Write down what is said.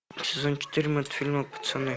сезон четыре мультфильма пацаны